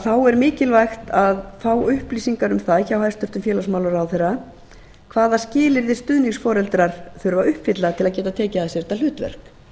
þá er mikilvægt að fá upplýsingar um það hjá hæstvirtum félagsmálaráðherra hvaða skilyrði stuðningsforeldrar þurfi að uppfylla til að geta tekið að sér þetta hlutverk